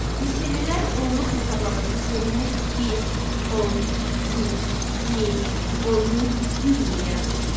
Misirlilər onluq hesablama sistemini bir, 10, 100, 1000, 10000, 100000 yaratmışdılar.